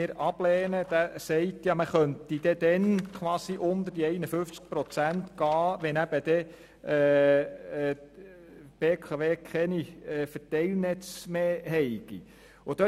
Er besagt, man könne dann unter 51 Prozent gehen, wenn die BKW keine Verteilnetze mehr habe.